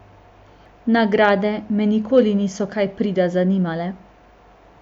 Nagrade me nikoli niso kaj prida zanimale.